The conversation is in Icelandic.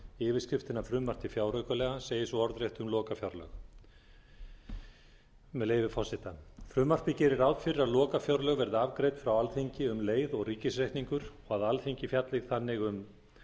yfirskriftina frumvarp til fjáraukalaga segir svo orðrétt um lokafjárlög með leyfi forseta frumvarpið gerir ráð fyrir að lokafjárlög verði afgreidd frá alþingi um leið og ríkisreikningur og að alþingi fjalli þannig um